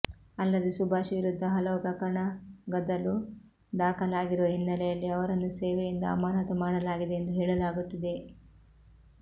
ಅಲ್ಲದೆ ಸುಭಾಷ್ ವಿರುದ್ಧ ಹಲವು ಪ್ರಕರಣಗದಳು ದಾಖಲಾಗಿರುವ ಹಿನ್ನೆಲೆಯಲ್ಲಿ ಅವರನ್ನು ಸೇವೆಯಿಂದ ಅಮಾನತು ಮಾಡಲಾಗಿದೆ ಎಂದು ಹೇಳಲಾಗುತ್ತಿದೆ